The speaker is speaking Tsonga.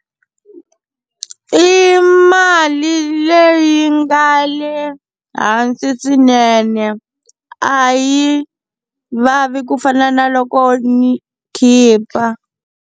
I mali leyi nga le hansi swinene a yi vavi ku fana na loko ni khipa.